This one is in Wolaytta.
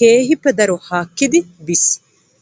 keehi daro haakkiddi biis.